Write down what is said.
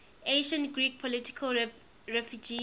ancient greek political refugees